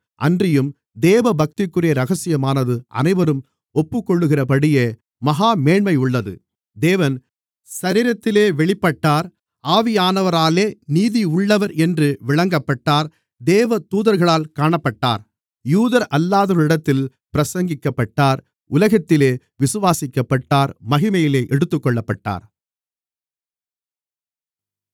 அன்றியும் தேவபக்திக்குரிய இரகசியமானது அனைவரும் ஒப்புக்கொள்ளுகிறபடியே மகாமேன்மையுள்ளது தேவன் சரீரத்திலே வெளிப்பட்டார் ஆவியானவராலே நீதியுள்ளவர் என்று விளங்கப்பட்டார் தேவதூதர்களால் காணப்பட்டார் யூதரல்லாதவர்களிடத்தில் பிரசங்கிக்கப்பட்டார் உலகத்திலே விசுவாசிக்கப்பட்டார் மகிமையிலே எடுத்துக்கொள்ளப்பட்டார்